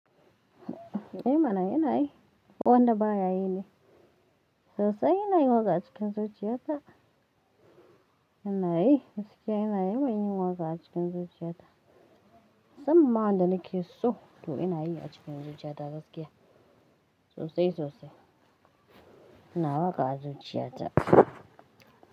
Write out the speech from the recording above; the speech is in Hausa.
Eh mana ina yi. Ko wanda baya yi ne. Sosai ina yin waka a cikin zuciyata. Ina yi, gaskiya ina yi mana yin waka cikin zuciyata. Musamman ma wanda nake so, toh ina yi a cikin zuciyata gaskiya. Sosai-sosai. Ina waƙa a zuciyata.